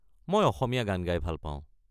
মই অসমীয়া গান গাই ভাল পাওঁ।